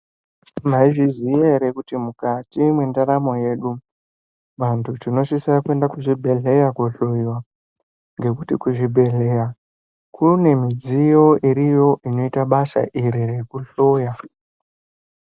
Maizviziya ere kuti mukati mwendaramo yedu, vantu tinosisa kuenda kuzvibhedhleya kohloyiwa ngekuti kuzvibhedhleya kune midziyo iriyo inoita basa iri rekuhloya?